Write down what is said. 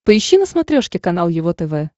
поищи на смотрешке канал его тв